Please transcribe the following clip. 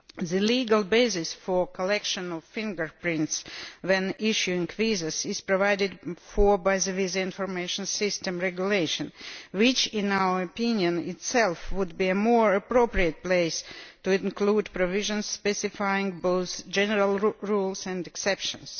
The legal basis for the collection of fingerprints when issuing visas is provided for by the Visa Information System Regulation which, in our opinion, would be a more appropriate place to include provisions specifying both general rules and exceptions.